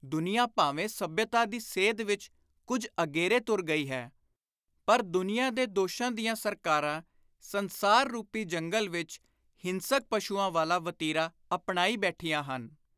ਦੁਨੀਆਂ ਭਾਵੇਂ ਸੱਭਿਅਤਾ ਦੀ ਸੇਧ ਵਿਚ ਕੁਝ ਅਗੇਰੇ ਤੁਰ ਗਈ ਹੈ ਪਰ ਦੁਨੀਆਂ ਦੇ ਦੋਸ਼ਾਂ ਦੀਆਂ ਸਰਕਾਰਾਂ ਸੰਸਾਰ ਰੁਪੀ ਜੰਗਲ ਵਿਚ ਹਿੰਸਕ ਪਸ਼ੂਆਂ ਵਾਲਾ ਵਤੀਰਾ ਅਪਣਾਈ ਬੈਠੀਆਂ ਹਨ।